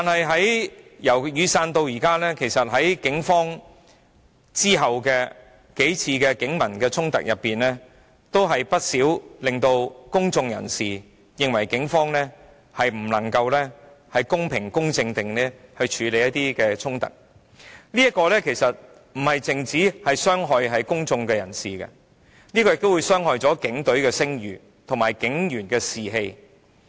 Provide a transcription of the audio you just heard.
在雨傘運動後發生的數次警民衝突中，不少事件均令公眾人士認為警方無法公平公正地處理衝突，不單傷害了公眾人士，亦傷害了警隊的聲譽和警員的士氣。